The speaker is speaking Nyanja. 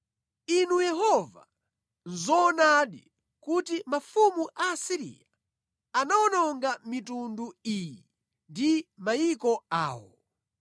“Inu Yehova, nʼzoonadi kuti mafumu a Asiriya anawononga mitundu iyi ndi mayiko awo.